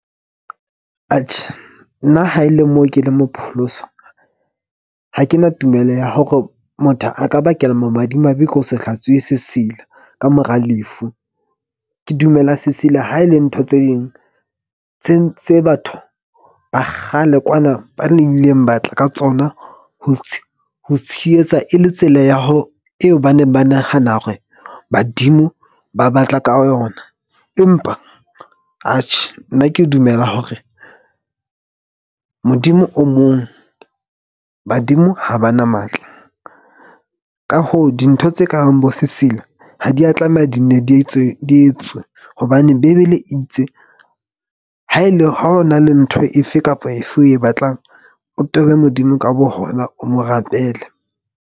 Nna ha e le mo ke leng mo pholoswa. Ha ke na tumelo ya hore motho a ka bakela mo madimabe ke ho se hlatsuwe sesila ka mora lefu. Ke dumela sesila ha e le ntho tse ding tse batho ba kgale kwana ba ne ileng ba tla ka tsona ho ho tshehetsa e le tsela ya ho eo ba neng ba nahana hore badimo ba batla ka yona. Empa nna ke dumela hore Modimo o mong badimo ha ba na matla. Ka hoo, dintho tse ka bang bo sesila ha di ya tlameha di nne di etswe di etswe, hobane bebele itse ha e le ha o na le ntho efe kapa efe o e batlang, o tobe Modimo ka bo hona, o mo rapele.